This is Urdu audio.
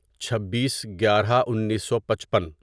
چھبیس گیارہ انیسو پچپن